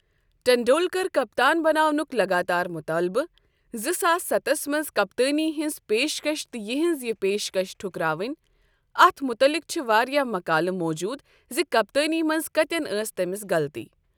ٹنڈولکر کپتان بناو نٕک لگاتار مُطالبہٕ، زٕ ساس ستھس منٛز کپتٲنی ہنٛز پیشکَش تہٕ یہٕنٛز یہ پیشکش ٹھکراوٕنۍ، اتھ متعلق چھ واریاہ مقالہٕ موٗجوٗد ز کپتٲنی منٛز کتٮ۪ن ٲس تٔمِس غلطی۔